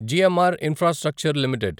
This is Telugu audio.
GMR infrastructure limited